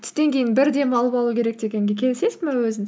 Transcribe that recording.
түстен кейін бір демалып алу керек дегенге келісесің бе өзің